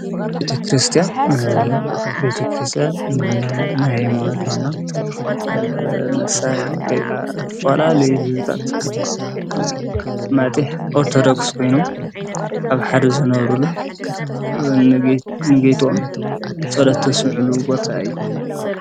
ቤቲ ክርስቲያን ቤቲ ክርስቲያን እና ናይ ሞነትና መሳርይ ወይቃ እተፈላ ልይህዝታት ማጢሕ ኦርተዶክስ ኮይኖም ኣብ ሓደ ዘነበሩሉ ንጌይቶዎም ጸለተ ስምዑሉ ቦታ እዩ።